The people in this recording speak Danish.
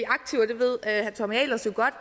aktiver det ved herre tommy ahlers jo godt